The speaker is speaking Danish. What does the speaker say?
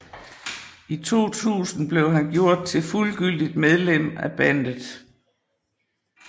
I 2000 blev han gjort til fuldgyldigt medlem af bandet